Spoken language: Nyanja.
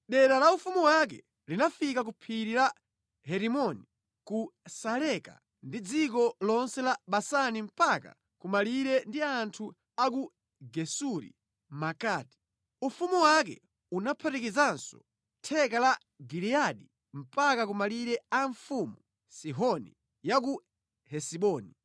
Dera la ufumu wake linafika ku phiri la Herimoni, ku Saleka ndi dziko lonse la Basani mpaka ku malire ndi anthu a ku Gesuri Makati. Ufumu wake unaphatikizanso theka la Giliyadi mpaka ku malire a mfumu Sihoni ya ku Hesiboni.